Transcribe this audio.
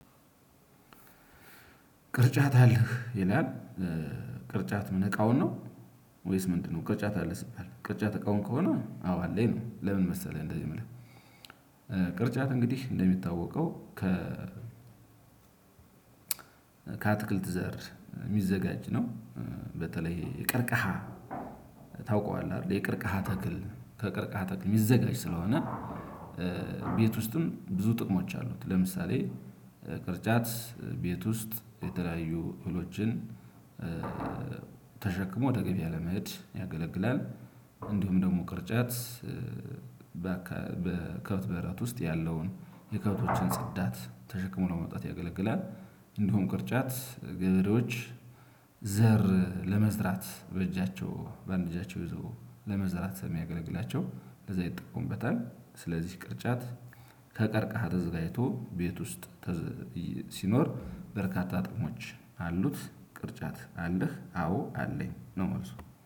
ቅርጫት አለህ ይላል ቅርጫት ምን እቃውን ነው ወይስ ምንድነው? ቅርጫት አለ ስትል ቅርጫት እቃውን ከሆነ አዎ አለኝ ነው። ለምን መሰለህ እንደዚህ የምልህ? ቅርጫት እንግዲህ እንደሚታወቀው ከ ከአትክልት ዘር የሚዘጋጅ ነው። በተለይ የቀርከሃ ታውቀዋለህ አይደል የቀርከሃ ተክል ከቀርከሃ ተክል የሚዘጋጅ ስለሆነ። ቤት ውስጥም ብዙ ጥቅሞች አሉት። ለምሳሌ ቅርጫት ቤት ውስጥ የተለያዩ እህሎችን ተሸክሞ ወደ ገበያ ለመሄድ ያገለግላል። እንዲሁም ደግሞ ቅርጫት በከብት በረት ውስጥ ያለውን የከብቶችን ጽዳት ተሽክሞ ለመውጣት ያገለግላል። እንዲሁም ቅርጫት ገበሬዎች ዘር ለመዝራት በእጃቸው በአንድ እጃቸው ይዞ ለመዝራት የሚያገለግላቸው ለዛ ይጠቁምበታል። ስለዚህ ቅርጫት ከቀርከሃ ተዘጋጅቶ ቤት ውስጥ ሲኖር በርካታ ጥቅሞች አሉት። ቅርጫት አለህ አዎ አለኝ ነው መልሱ